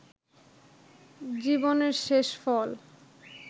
জীবনের শেষফল